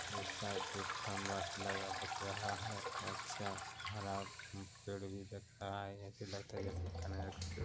एक साइड एक खम्भा लगा दिख रहा है और अच्छा हरा पेड़ भी दिख रहा है ऐसे लगता है जैसे कनेर का पेड़--